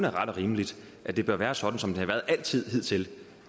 er ret og rimeligt at det bør være sådan som det har været hidtil